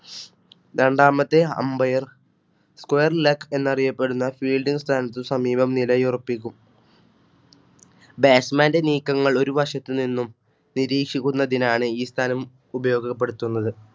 രണ്ടാമത്തെ Ambire, Squre Leg എന്നറിയപ്പെടുന്ന Fielding സ്ഥാനത്തിന് സമീപം നിലയുറപ്പിക്കും. Batchman ന്റെ നീക്കങ്ങൾ ഒരുവശത്തുനിന്നും നിരീക്ഷിക്കുന്നതിനാണ് ഈ സ്ഥാനം ഉപയോഗപ്പെടുത്തുന്നത്.